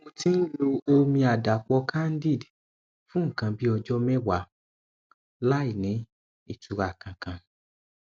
mo ti ń lo omi àdàpò candid fún nǹkan bí ọjọ mẹwàá láìní ìtura kankan